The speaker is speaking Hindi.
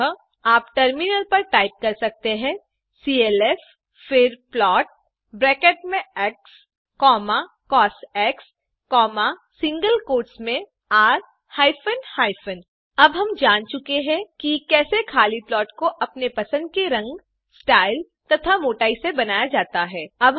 अतः आप टर्मिनल पर टाइप कर सकते हैं clf फिर प्लॉट ब्रैकेट्स में एक्स कॉस सिंगल कोट्स मेंr हाइफेन हाइफेन अब हम जान चुके हैं कि कैसे खाली प्लॉट को अपने पसंद के रंग स्टाइल तथा मोटाई से बनाया जाता है